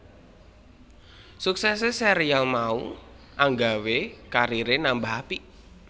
Suksesé serial mau anggawé kariré nambah apik